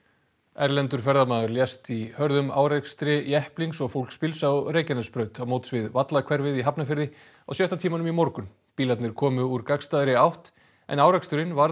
erlendur ferðamaður lést í hörðum árekstri jepplings og fólksbíls á Reykjanesbraut á móts við í Hafnarfirði á sjötta tímanum í morgun bílarnir komu úr gagnstæðri átt en áreksturinn varð